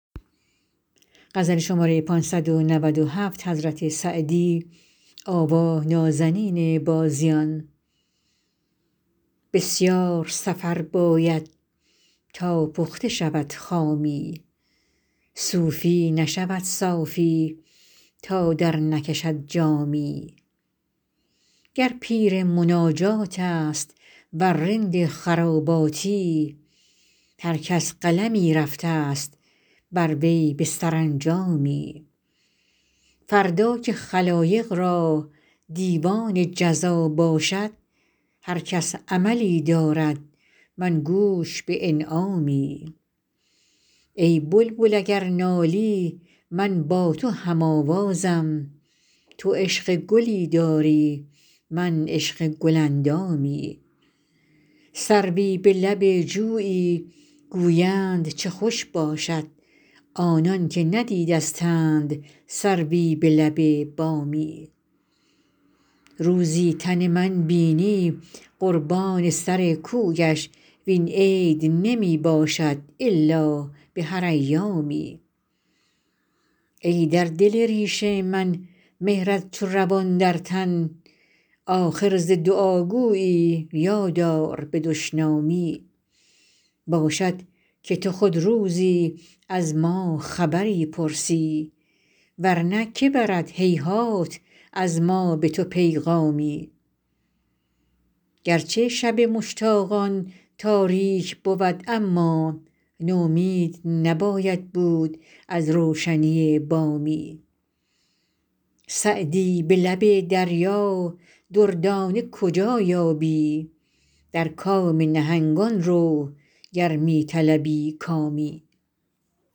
بسیار سفر باید تا پخته شود خامی صوفی نشود صافی تا درنکشد جامی گر پیر مناجات است ور رند خراباتی هر کس قلمی رفته ست بر وی به سرانجامی فردا که خلایق را دیوان جزا باشد هر کس عملی دارد من گوش به انعامی ای بلبل اگر نالی من با تو هم آوازم تو عشق گلی داری من عشق گل اندامی سروی به لب جویی گویند چه خوش باشد آنان که ندیدستند سروی به لب بامی روزی تن من بینی قربان سر کویش وین عید نمی باشد الا به هر ایامی ای در دل ریش من مهرت چو روان در تن آخر ز دعاگویی یاد آر به دشنامی باشد که تو خود روزی از ما خبری پرسی ور نه که برد هیهات از ما به تو پیغامی گر چه شب مشتاقان تاریک بود اما نومید نباید بود از روشنی بامی سعدی به لب دریا دردانه کجا یابی در کام نهنگان رو گر می طلبی کامی